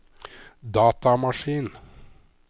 datamaskin